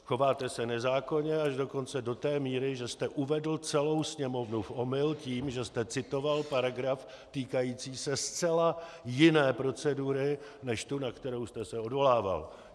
Chováte se nezákonně, až dokonce do té míry, že jste uvedl celou Sněmovnu v omyl tím, že jste citoval paragraf týkající se zcela jiné procedury než tu, na kterou jste se odvolával.